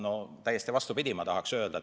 No täiesti vastupidi, ma tahaksin öelda.